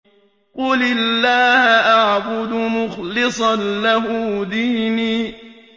قُلِ اللَّهَ أَعْبُدُ مُخْلِصًا لَّهُ دِينِي